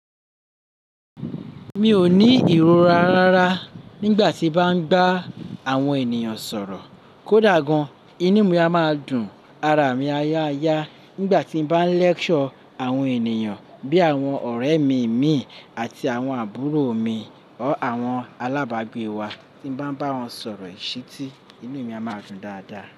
Mi ò ní ìrora rárá nígbà tí bá ń ba àwọn ènìyàn sọ̀rọ̀ kódà gan-an, inú mi a máa dùn ara mi aya aya nígbà tí bá ń lecture àwọn ènìyàn bí àwọn ọ̀rẹ́ mi mì àti àwọn àbúrò mi ọ́ àwọn alábàgbé wa tí bá ń bá wọn sọ̀rọ̀ ìṣítí, inú mi a máa dùn dáadáa.